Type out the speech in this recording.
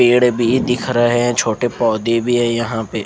पेड़ भी दिख रहे है छोटे पोधे भी है यहाँ पे--